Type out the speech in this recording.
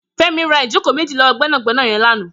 Femi rà ijókó méji lọwọ gbẹnágbẹná yèn làná